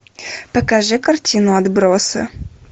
покажи картину отбросы